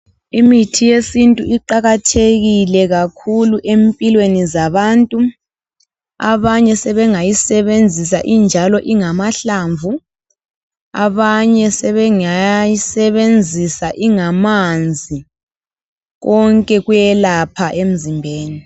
Imithi yesintu iqakathekile kakhulu empilweni zabantu abanye sebengayisebenzisa injalo ingamahlamvu abanye sebengayi sebenzisa ingamanzi konke kuyelapha emzimbeni